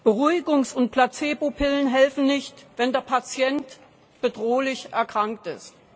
Beruhigungs und Placebo Pillen helfen nicht, wenn der Patient bedrohlich erkrankt ist.